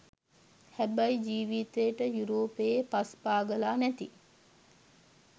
හැබැයි ජීවිතේට යුරෝපයේ පස් පාගල නැති